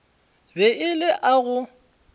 be e le a go